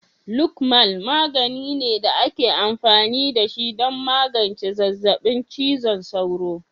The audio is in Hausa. Lokmal magani ne da ake amfani da shi don magance zazzabin cizon sauro.